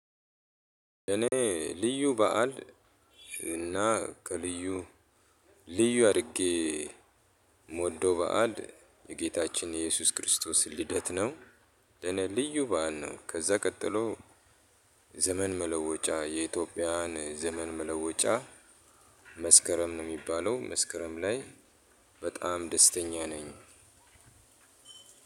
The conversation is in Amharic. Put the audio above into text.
እኔ ልዩ በዓል እና ከልዩ ልዩ አድርጌ የምወደው በዓል የጌታችን የኢየሱስ ክርስቶስን ልደት ነው። ለኔ ልዩ በዓል ነው። ከዛ ቀጥሎ ዘመን መለወጫ የኢትዮጵያን ዘመን መለወጫ መስከረም ነው የሚባለው መስከረም ላይ በጣም ደስተኛ ነኝ።